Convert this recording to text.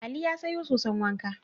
Ali ya sayo soson wanka.